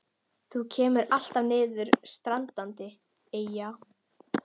Þú kemur alltaf niður standandi, Eyja.